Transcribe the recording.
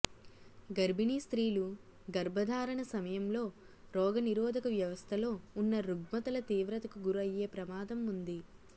గర్భిణీ స్త్రీలు గర్భధారణ సమయంలో రోగనిరోధక వ్యవస్థలో ఉన్న రుగ్మతల తీవ్రతకు గురయ్యే ప్రమాదం ఉంది